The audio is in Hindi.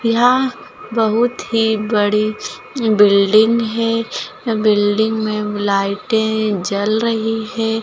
यहाँ बहुत ही बड़ी बिल्डिंग है बिल्डिंग में लाइटे जल रही है।